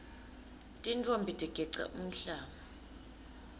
tintfombi tigeca umhlanga